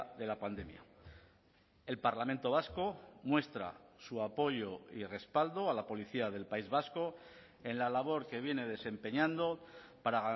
de la pandemia el parlamento vasco muestra su apoyo y respaldo a la policía del país vasco en la labor que viene desempeñando para